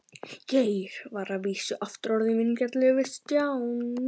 Geir var að vísu aftur orðinn vingjarnlegur við Stjána.